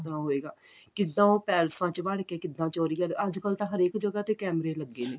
ਹੋਏਗਾ ਕਿੱਦਾਂ ਉਹ ਪੈਲੇਸਾਂ ਚ ਵੜ ਕੇ ਕਿੱਦਾਂ ਚੋਰੀ ਕਰਦੇ ਅੱਜਕਲ ਤਾਂ ਹਰੇਕ ਜਗ੍ਹਾ ਤੇ ਕੈਮੇਰੇ ਲੱਗੇ ਨੇ